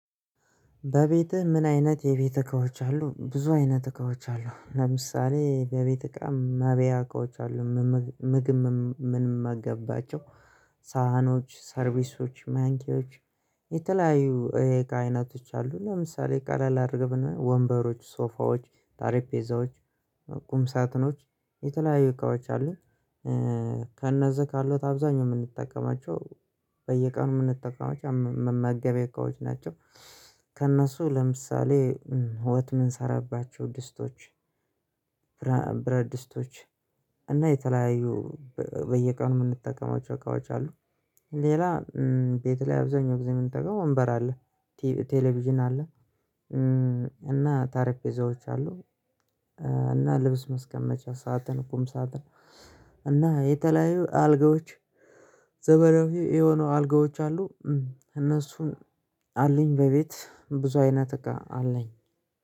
በቤትህ ምን አይነት የቤት እቃዎች አሉ ብዙ አይነት እቃዎች አሉ ለምሳሌ በቤት እቃም መብያ አሉ። ምግብ ምንመገባቸው ሳህኖች ሰርቪሶች ማንኪዎች። የተለያዩ እቃ አይነቶች አሉ ለምሳሌ ቃላል አድርገብን ወንበሮች ሶፋዎች ጠረጴዛዎች ቁም ሳጥኖች የተለያዩ እቃዎች አሉኝ። ከእነዚህ ካሉት አብዛኛው የምንጠቀማቸው በየቀኑ የምንጠቀማቸው መመገብ የእቃዎች ናቸው። ከእነሱ ለምሳሌ ወጥት ምን ሰራባቸው ድስቶች ብረድስቶች እና የተለያዩ በየቀኑ የምንጠቀማቸው እቃዎች አሉ። ሌላ ቤት ላይ አብዛኛው ጊዜ የምንጠጋው ወንበር አለ። ቴሌቪዥን አለ። እና ጠረንጴዛዎች አሉ። እና ልብስ መስቀመጫ ሳጥን ቁም ሳጥን። እና የተለያዩ አልጋዎች ዘመናዊ የሆኑ አልጋዎች አሉ። እነሱን አለኝ በቤት ብዙ አይነት እኮ አለኝ